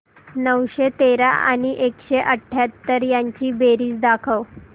नऊशे तेरा आणि एकशे अठयाहत्तर यांची बेरीज दाखव